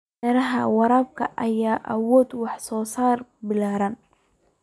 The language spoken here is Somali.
Beeraha waraabka ayaa awood wax soo saar ballaaran.